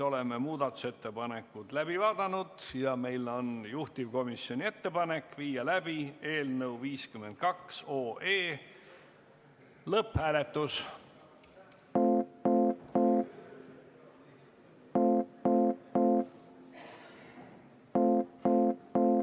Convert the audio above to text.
Oleme muudatusettepanekud läbi vaadanud ja meil on juhtivkomisjoni ettepanek viia läbi eelnõu 52 lõpphääletus.